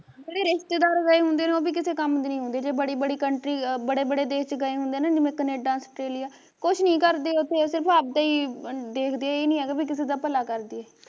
ਜਿਹੜੇ ਰਿਸ਼ਤੇਦਾਰ ਗਏ ਹੁੰਦੇ ਨੇ ਉਹ ਵੀ ਕਿਸੇ ਕੰਮ ਦੇ ਨੇ ਹੁੰਦੇ, ਜੇ ਬੜੀ ਬੜੀ country ਅ ਬੜੇ ਬੜੇ ਦੇਸ਼ ਚ ਗਏ ਹੁੰਦੇ ਜਿਵੇ ਕਨੇਡਾ ਔਸਟ੍ਰੇਲਿਆ, ਕੁਛ ਨੀ ਕਰਦੇ ਓਥੇ ਸਿਰਫ਼ ਅਵਦਾ ਈ ਦੇਖਦੇ ਆ ਏਹ ਨੀ ਹੈਗਾ ਵੀ ਕਿਸੇ ਦਾ ਭਲਾ ਕਰਦਈਏ